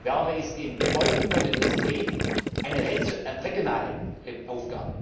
Wärme ist in Gebäuden und in der Industrie eine regionale Aufgabe,